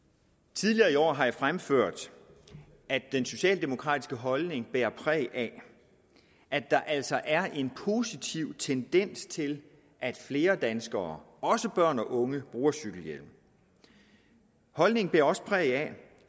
tidligere i år har jeg fremført at den socialdemokratiske holdning er præget af at der altså er en positiv tendens til at flere danskere også børn og unge bruger cykelhjelm holdningen er også præget af